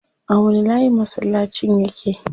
A wani layi masallacin yake?